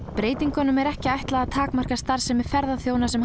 breytingunum er ekki ætlað að takmarka starfsemi ferðaþjóna sem